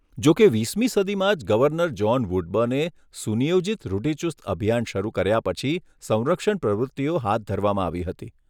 જો કે, વીસમી સદીમાં જ ગવર્નર જ્હોન વુડબર્ને સુનિયોજિત રૂઢિચુસ્ત અભિયાન શરૂ કર્યા પછી સંરક્ષણ પ્રવૃત્તિઓ હાથ ધરવામાં આવી હતી.